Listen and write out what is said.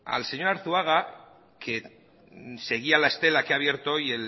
al señor arzuaga que seguía la estela que ha abierto hoy